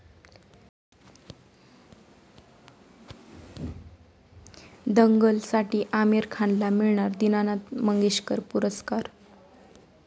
दंगल'साठी आमिर खानला मिळणार दीनानाथ मंगेशकर पुरस्कार